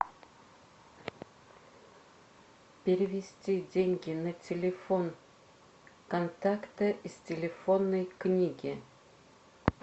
перевести деньги на телефон контакта из телефонной книги